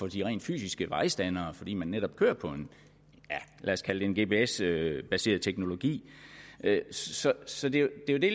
de rent fysiske vejstandere fordi man netop kører på ja lad os kalde det en gps baseret teknologi så det er jo det